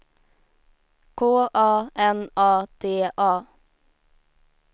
K A N A D A